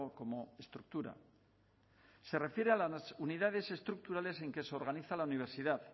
como estructura se refiere a las unidades estructurales en que se organiza la universidad